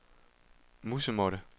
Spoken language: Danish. musemåtte